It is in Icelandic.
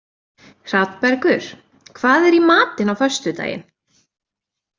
Hrafnbergur, hvað er í matinn á föstudaginn?